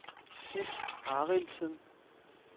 Sif Arildsen